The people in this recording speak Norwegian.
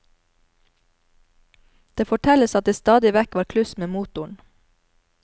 Det fortelles at det stadig vekk var kluss med motoren.